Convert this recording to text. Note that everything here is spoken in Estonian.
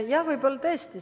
Jah, võib-olla tõesti.